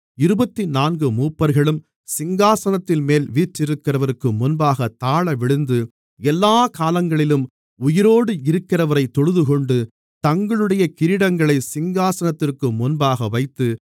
இருபத்துநான்கு மூப்பர்களும் சிங்காசனத்தின்மேல் வீற்றிருக்கிறவருக்கு முன்பாகத் தாழவிழுந்து எல்லாக் காலங்களிலும் உயிரோடு இருக்கிறவரைத் தொழுதுகொண்டு தங்களுடைய கிரீடங்களைச் சிங்காசனத்திற்கு முன்பாக வைத்து